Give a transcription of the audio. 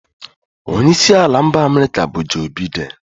Onye isi ala mba America bu Joe Biden